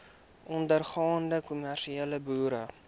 ondergaande kommersiële boere